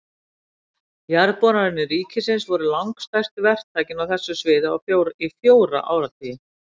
Jarðboranir ríkisins voru langstærsti verktakinn á þessu sviði í fjóra áratugi.